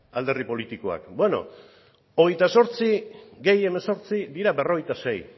alderdi politikoak bueno hogeita zortzi gehi hemezortzi dira berrogeita sei